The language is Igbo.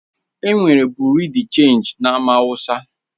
Enwere Bị́yurị́ dé Chénji e na Amaawusa